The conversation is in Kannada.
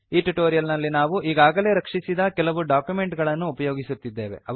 ಈ ಟ್ಯುಟೋರಿಯಲ್ ನಲ್ಲಿ ನಾವು ಈಗಾಗಲೇ ರಕ್ಷಿಸಿದ ಕೆಲವು ಡಾಕ್ಯುಮೆಂಟ್ ಗಳನ್ನು ಉಪಯೋಗಿಸುತ್ತಿದ್ದೇವೆ